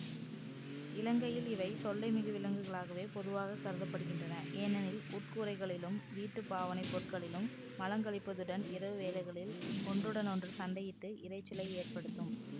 இலங்கையில் இவை தொல்லைமிகு விலங்குகளாகவே பொதுவாக கருத படுகின்றன ஏனெனில் உட்கூரைகளிலும் வீட்டு பாவனைப் பொருட்களிலும் மலங்கழிப்பதுடன் இரவு வேளைகளில் ஒன்றுடனொன்று சண்டையிட்டு இரைச்சலை ஏற்படுத்தும்